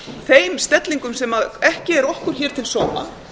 þeim stellingum sem ekki er okkur til sóma